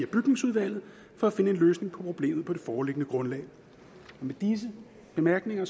bygningsudvalget for at finde en løsning på problemet på det foreliggende grundlag med disse bemærkninger